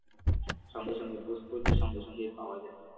সঙ্গে সঙ্গে post করলে সঙ্গে সঙ্গে পাওয়া যায়